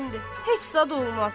Heç zad olmaz.